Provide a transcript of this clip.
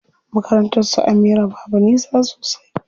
Makarnatar su Amira babu nisa sosai.